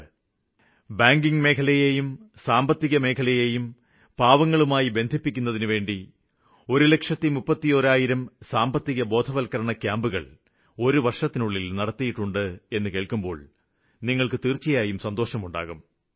ഒരു വര്ഷത്തില്തന്നെ ബാങ്കിംഗ് മേഖല സാമ്പത്തിക വ്യവസ്ഥയും പാവങ്ങള് ഇതുമായി ബന്ധപ്പെടുന്നതിനുവേണ്ടി ഒരു ലക്ഷത്തിമുപ്പത്തിഒന്നായിരം സാമ്പത്തികബോധവത്ക്കരണ ക്യാമ്പുകള് നടത്തിയിട്ടുണ്ട് എന്നു കേള്ക്കുമ്പോള് നിങ്ങള്ക്ക് തീര്ച്ചയായും സന്തോഷമുണ്ടാകും